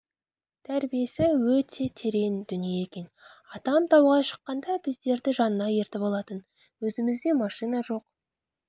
тәрбиесі өте терең дүние екен атам тауға шыққанда біздерді жанына ертіп алатын өзімізде машина жоқ